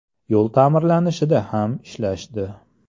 – Yo‘l ta’mirlanishida ham ishlashdi.